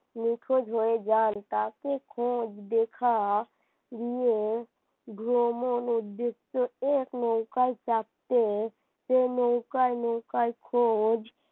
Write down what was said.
নিখোঁজ হয়ে যান তাকে খোঁজ দেখা দিয়ে ভ্রমণে দেখতে এক লোক নৌকায় চাপতেসেই নৌকায় নৌকার খোঁজ,